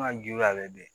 An ka julu y'a lajɛ